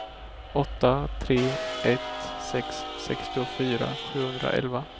åtta tre ett sex sextiofyra sjuhundraelva